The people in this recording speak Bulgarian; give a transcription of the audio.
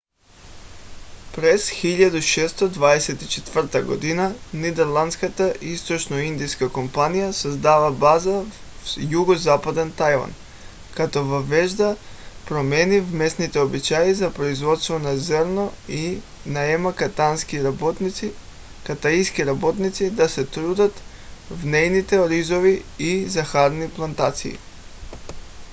през 1624 г. нидерландската източноиндийска компания създава база в югозападен тайван като въвежда промени в местните обичаи за производство на зърно и наема китайски работници да се трудят в нейните оризови и захарни плантации